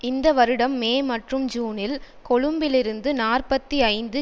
இந்த வருடம் மே மற்றும் ஜூனில் கொழும்பிலிருந்து நாற்பத்தி ஐந்து